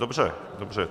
Dobře, dobře.